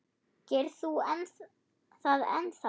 Gerir þú það ennþá?